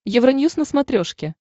евроньюз на смотрешке